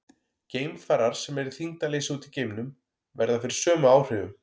Geimfarar sem eru í þyngdarleysi úti í geimnum verða fyrir sömu áhrifum.